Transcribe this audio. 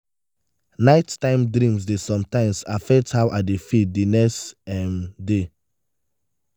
nighttime dreams dey sometimes affect how i dey feel the next um day.